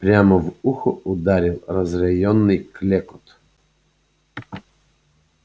прямо в ухо ударил разъярённый клёкот